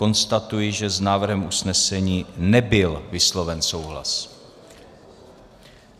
Konstatuji, že s návrhem usnesení nebyl vysloven souhlas.